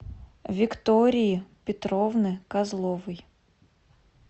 виктории петровны козловой